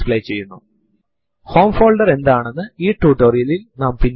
ഇത് വളരെ ഉപയോഗപ്രദവും കൂടാതെ വിവിധ ഓപ്ഷൻസ് ഉം ഉള്ള ഒരു യൂട്ടിലിറ്റി ആണ്